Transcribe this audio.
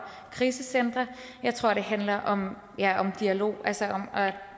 krisecentre jeg tror det handler om dialog altså om at